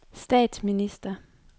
statsminister